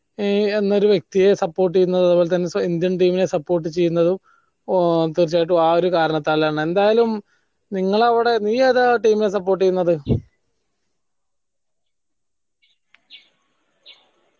ഏഹ് എന്നൊരു വ്യക്തിയെ support ചെയ്യുന്നത് അത്പോലെ തന്നെ indian team നെ support ചെയ്യുന്നതും ആഹ് തീർച്ചയായിട്ടും ആ ഒരു കാരണത്താലാണ് എന്തായലും നിങ്ങള അവിടെ നീ ഏതാ team നെ support ചെയ്യുന്നത്